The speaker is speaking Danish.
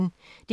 DR P1